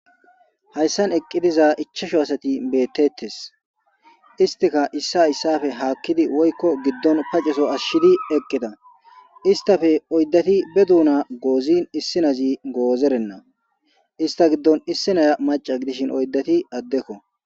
hayssan eqqi diza ichasho asati beettettes istika issa issafe haakkidi woykko giddon paceso ashshidi eqqida istafe oyddati be duuna goozin issinazi goozerenna ista giddon issinaya maca gidishin oydati addekko